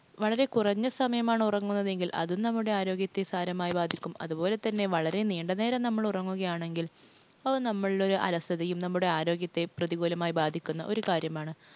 വളരെ കുറഞ്ഞ സമയമാണ് ഉറങ്ങുന്നതെങ്കിൽ അതും നമ്മുടെ ആരോഗ്യത്തെ സാരമായി ബാധിക്കും. അതുപോലെ തന്നെ വളരെ നീണ്ട നേരം നമ്മൾ ഉറങ്ങുകയാണെങ്കിൽ അത് നമ്മുടെയൊരു അലസതയെയും ആരോഗ്യത്തെയും പ്രതികൂലമായി ബാധിക്കുന്ന ഒരു കാര്യമാണ്.